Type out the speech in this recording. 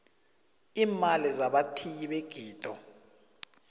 iimali zabathiyi begido